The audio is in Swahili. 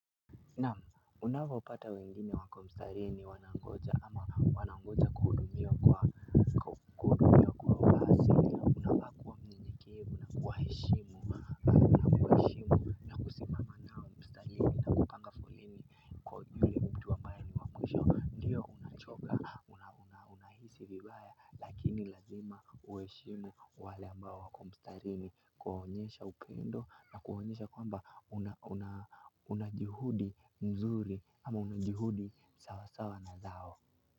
Naam, unavyopata wengine wako mstarini wanangoja ama wanangoja kuhudumiwa kwa uasili unafaa kuwa myenyekevu na kuwaheshimu na kusimama nao mstarini na kupanga foleni, ndio unachoka unahisi vibaya lakini lazima uheshimu wale ambao wako mstarini kuwaonyesha upendo na kuwaonyesha kwamba unajuhudi mzuri ama unajuhudi sawasawa na zao.